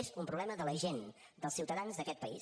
és un problema de la gent dels ciutadans d’aquest país